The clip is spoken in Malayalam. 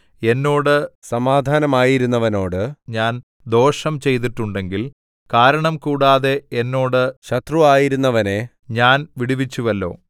എന്നോട് സമാധാനമായിരുന്നവനോട് ഞാൻ ദോഷം ചെയ്തിട്ടുണ്ടെങ്കിൽ കാരണംകൂടാതെ എന്നോട് ശത്രുവായിരുന്നവനെ ഞാൻ വിടുവിച്ചുവല്ലോ